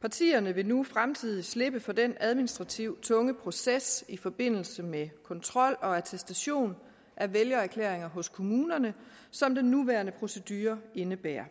partierne vil nu i fremtiden slippe for den administrativt tunge proces i forbindelse med kontrol og attestation af vælgererklæringer hos kommunerne som den nuværende procedure indebærer